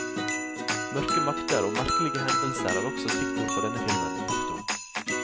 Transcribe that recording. Mørke makter og merkelige hendelser er også stikkord for denne filmen. punktum